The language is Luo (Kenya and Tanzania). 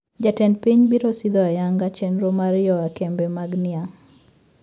Jatend piny biro sidho ayanga chendro mar yoa kembe mag niang`